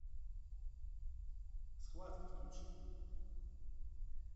схватка включи